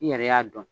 I yɛrɛ y'a dɔn